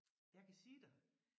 Jeg kan sige dig